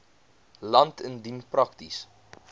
land indien prakties